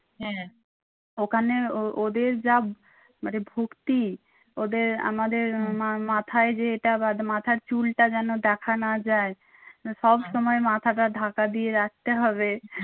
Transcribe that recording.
হ্যাঁ ওখানে ও ওদের যা মানে ভক্তি ওদের আমাদের মা মাথায় যেটা বাঁধে মাথার চুলটা যেনো দেখা না যায়। সব সময় মাথাটা ঢাকা দিয়ে রাখতে হবে।